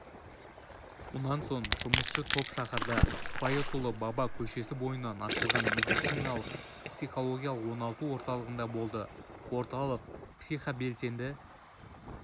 мұнан соң жұмысшы топ шаһарда байытұлы баба көшесі бойынан ашылған медициналық-психологиялық оңалту орталығында болды орталық психобелсенді